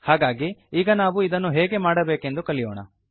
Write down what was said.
ಹಾಗಾಗಿ ಈಗ ನಾವು ಇದನ್ನು ಹೇಗೆ ಮಾಡಬೇಕೆಂದು ಕಲಿಯೋಣ